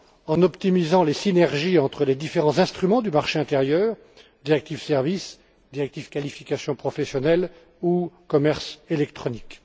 En optimisant les synergies entre les différents instruments du marché intérieur directives sur les services, sur les qualifications professionnelles ou le commerce électronique.